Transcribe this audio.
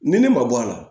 Ni ne ma bɔ a la